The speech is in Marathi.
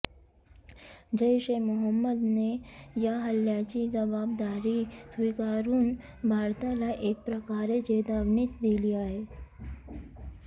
जैश ए मोहम्मदने या हल्ल्याची जबाबदारी स्वीकारून भारताला एक प्रकारे चेतावणीच दिली आहे